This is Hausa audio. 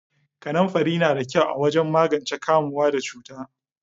Kanamfari na da kyau wajen magance kamuwa da cuta.